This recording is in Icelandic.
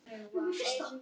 Óla og svo mig.